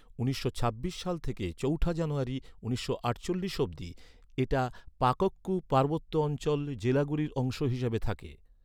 উনিশশো ছাব্বিশ সাল থেকে চৌঠা জানুয়ারী উনিশশো আটচল্লিশ অব্দি, এটা পাকোক্কু পার্বত্য অঞ্চলের জেলাগুলির অংশ হিসেবে থাকে।